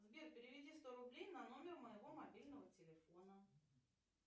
сбер переведи сто рублей на номер моего мобильного телефона